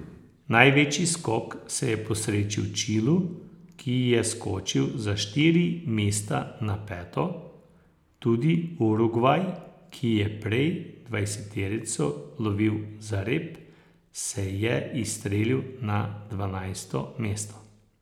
Največji skok se je posrečil Čilu, ki je skočil za štiri mesta na peto, tudi Urugvaj, ki je prej dvajseterico lovil za rep, se je izstrelil na dvanajsto mesto.